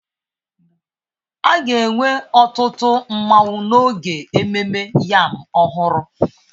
A ga-enwe ọtụtụ nmanwu n'oge ememme yam ọhụrụ